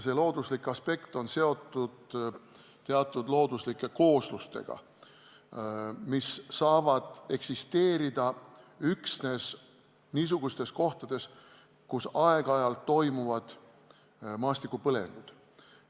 See aspekt on seotud teatud looduslike kooslustega, mis saavad eksisteerida üksnes niisugustes kohtades, kus aeg-ajalt toimuvad maastikupõlengud.